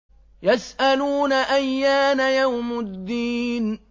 يَسْأَلُونَ أَيَّانَ يَوْمُ الدِّينِ